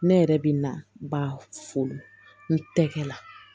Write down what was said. Ne yɛrɛ bɛ na ba fo n tɛgɛ la